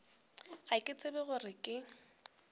ga ke tshepe gore ke